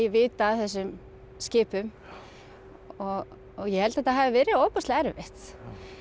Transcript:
vita af þessum skipum ég held að þetta hafi verið ofboðslega erfitt